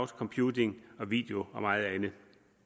computing og video og meget andet